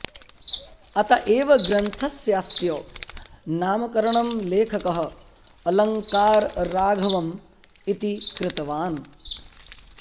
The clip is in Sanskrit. अत एव ग्रन्थस्यास्य नामकरणं लेखकः अलङ्कारराघवम् इति कृतवान्